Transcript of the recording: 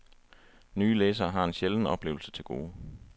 Nye læsere har en sjælden oplevelse til gode.